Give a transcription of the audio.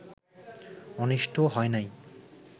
অনিষ্ট হয় নাই